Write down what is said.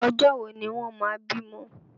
Ọjọ́ wo ni wọ́n máa bímọ?